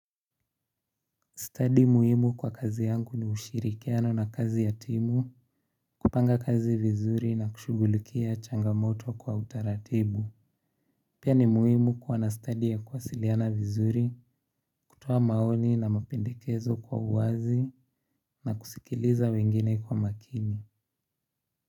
Stadi muhimu kwa kazi yangu ni ushirikiano na kazi ya timu, kupanga kazi vizuri na kushughulikia changamoto kwa utaratibu. Pia ni muhimu kuwa na stadi ya kuwasiliana vizuri kutoa maoni na mapendekezo kwa uwazi na kusikiliza wengine kwa makini.